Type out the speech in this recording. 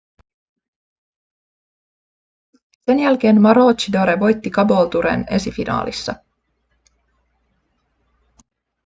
sen jälkeen maroochydore voitti caboolturen esifinaalissa